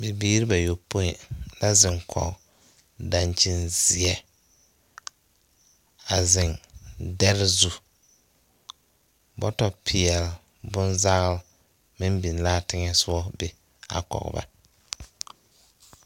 Bibiiri bayɔpoe la ziŋ kɔg dakyin zeɛ, a ziŋ deri zu, bɔto pɛl bonzaal meŋ biŋ la a teŋɛ soŋɛ be a biŋ kɔɔ ba